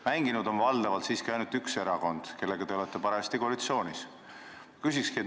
Mänginud on aga valdavalt ainult üks erakond, kellega te olete parajasti koalitsioonis.